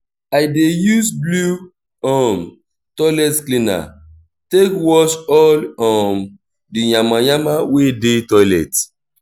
i dey use blew um toilet cleaner take wash all um di yama yama wey dey toilet